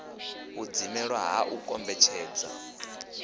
u dzimelwa ha u kombetshedza